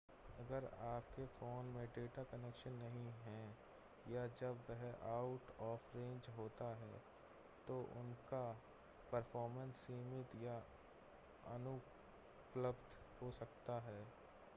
अगर आपके फ़ोन में डेटा कनेक्शन नहीं है या जब वह आउट ऑफ़ रेंज होता है तो उनका परफ़ॉर्मेंस सीमित या अनुपलब्ध हो सकता है